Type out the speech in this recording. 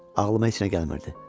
Ağlıma heç nə gəlmirdi.